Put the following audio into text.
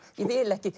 ég vil ekki